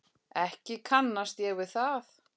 Ekki kannast ég við það.